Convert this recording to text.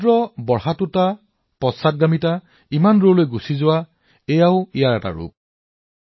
সাগৰীয় ঘটনা উত্থানপতন ইমান দূৰলৈ আঁতৰি যোৱাটোও ইয়াৰ এটা স্বভাৱ